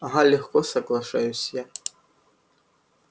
ага легко соглашаюсь я